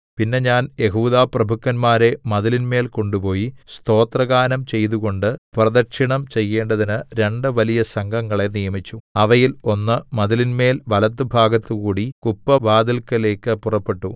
പിന്നെ ഞാൻ യെഹൂദാപ്രഭുക്കന്മാരെ മതിലിന്മേൽ കൊണ്ടുപോയി സ്തോത്രഗാനം ചെയ്തുകൊണ്ട് പ്രദക്ഷിണം ചെയ്യേണ്ടതിന് രണ്ട് വലിയ സംഘങ്ങളെ നിയമിച്ചു അവയിൽ ഒന്ന് മതിലിന്മേൽ വലത്തുഭാഗത്തുകൂടി കുപ്പവാതില്‍ക്കലേക്ക് പുറപ്പെട്ടു